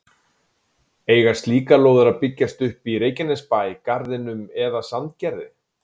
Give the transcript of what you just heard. Eiga slíkar lóðir að byggjast upp í Reykjanesbæ, Garðinum eða Sandgerði?